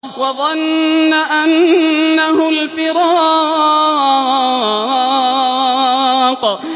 وَظَنَّ أَنَّهُ الْفِرَاقُ